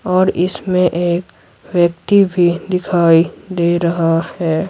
और इसमें एक व्यक्ति भी दिखाई दे रहा है।